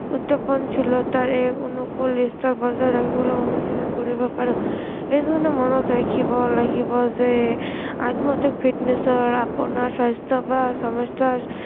এই অনুকূল দৃশ্য় বজাই ৰাখিবলৈ অনুপ্ৰেৰণ কৰিব পাৰো, এজনে মনত ৰাখিব লাগিব যে আত্ম fitness ৰ আপোনাৰ স্ৱাস্থ্য় বা সমস্য়াৰ